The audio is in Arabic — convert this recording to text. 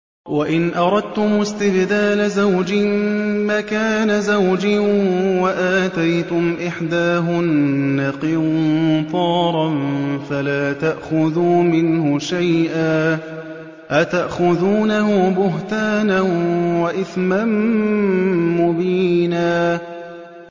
وَإِنْ أَرَدتُّمُ اسْتِبْدَالَ زَوْجٍ مَّكَانَ زَوْجٍ وَآتَيْتُمْ إِحْدَاهُنَّ قِنطَارًا فَلَا تَأْخُذُوا مِنْهُ شَيْئًا ۚ أَتَأْخُذُونَهُ بُهْتَانًا وَإِثْمًا مُّبِينًا